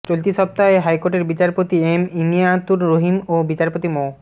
চলতি সপ্তাহে হাইকোর্টের বিচারপতি এম ইনায়েতুর রহিম ও বিচারপতি মো